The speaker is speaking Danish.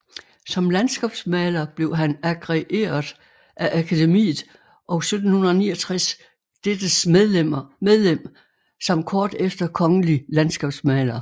Som landskabsmaler blev han agreeret af Akademiet og 1769 dettes medlem samt kort efter kongelig landskabsmaler